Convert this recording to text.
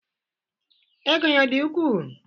Ego ya ọ dị ukwuu?